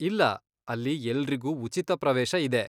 ಇಲ್ಲ, ಅಲ್ಲಿ ಎಲ್ರಿಗೂ ಉಚಿತ ಪ್ರವೇಶ ಇದೆ.